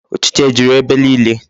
Ụchịcha juru ebe niile?